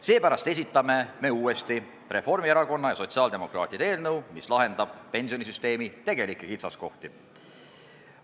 Seepärast esitame uuesti Reformierakonna ja sotsiaaldemokraatide eelnõu, mis lahendab pensionisüsteemi tegelikke kitsaskohti.